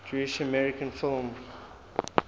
jewish american film